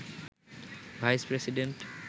vice president